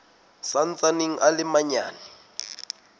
sa ntsaneng a le manyane